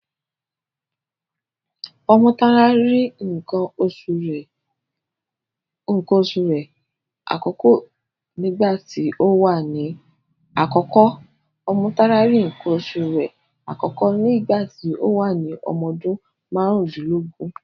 Ọmọ́tárá rí nǹkan oṣu rẹ̀ àkọ́kọ́ nígbà tí ó wà ní ọmọ ọdún márùndínlógún.